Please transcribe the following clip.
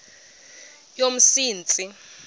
yomsintsi